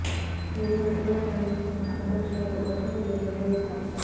ఇటీవల ఉత్తర కొరియా నిర్వహిస్తున్న అణు పరీక్షలతో దక్షిణ కొరియా బెంబేలెత్తింది